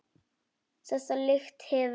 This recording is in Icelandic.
Þessa lykt hefur